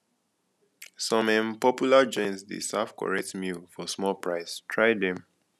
some um popular joints dey serve correct meal for small price try them